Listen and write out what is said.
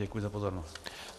Děkuji za pozornost.